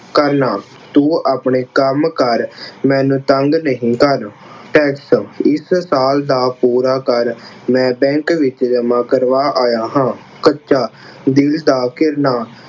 ਕਰਨਾ, ਤੂੰ ਆਪਣੇ ਕੰਮ ਕਰ ਮੈਨੂੰ ਤੰਗ ਨਹੀਂ ਕਰ। Tax ਇਸ ਸਾਲ ਦਾ ਪੂਰਾ ਕਰ ਮੈਂ Bank ਵਿੱਚ ਜਮ੍ਹਾਂ ਕਰਵਾ ਆਇਆ ਹਾਂ। ਕੱਚਾ ਦਿਲ ਦਾ ਘਿਰਨਾ